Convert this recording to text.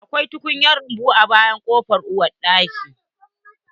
Akwai tukunyan rumbu a bayan kofan uwar daki